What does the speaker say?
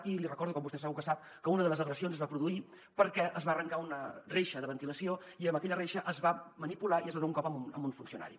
i li recordo com vostè segur que sap que una de les agressions es va produir perquè es va arrencar una reixa de ventilació i amb aquella reixa es va manipular i es va donar un cop a un funcionari